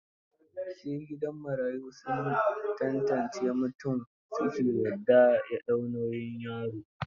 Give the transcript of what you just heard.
Sai gidan marayu sun tantance mutum su ke yarda ya ɗau nauyin yaro.